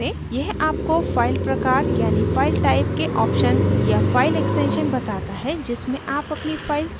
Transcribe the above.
यह आपको file प्रकार यानि file type के options या file extensions बताता है जिसमें आप अपनी file सेव कर सकते हैं